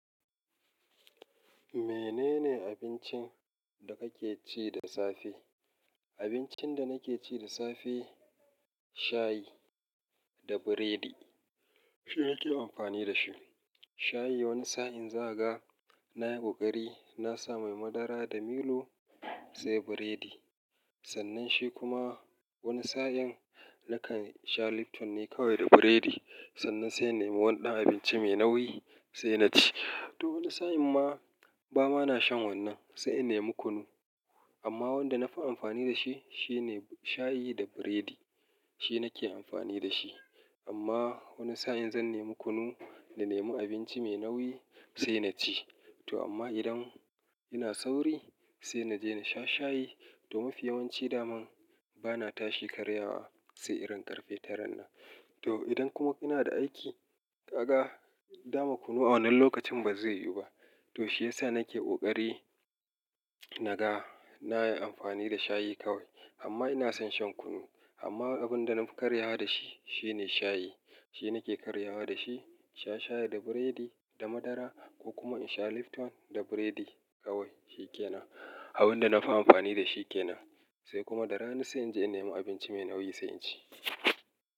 Menene abincin da kake ci da safe? Abincin da nake ci da safe shayi da biredi, shine nake amfani da shi. Shayi wani sa'in za ka ga na yi ƙoƙari na sa ma madara da milo, sai biredi. Sannan shi kuma wani sa'in nakan sha Lipton ne kawai da biredi. Sannan sai na yi wani dan abinci mai nauyi sai na ci. To wani sa'in ma ba ma na shan wannan, sai in nemi kunu. Amma wanda na fi amfani da shi shine shayi da biredi, shi nake amfani da shi. Amma wani sa'in zan nemi kunu na nemi abinci mai nauyi sai na ci. To amma idan ina sauri sai na je na sha shayi. To mafi yawanci dama bana tashi karyawa sai irin ƙarfe taran nan. To idan kuma kuna da aiki, kaga dama kunu a wannan lokacin ba zai yiwu ba. To shi ya sa nake ƙoƙari naga na yi amfani da shayi kawai. Amma ina son shan kunu. Amma abin da na fi karyawa da shi shine shayi. Shi nake karyawa da shi. Sha shayi da biredi da madara ko kuma in sha Lipton da biredi kawai shi kenan. Abin da na fi amfani da shi ke nan. Sai kuma da rana sai in je in nemi abinci mai nauyi sai in ci.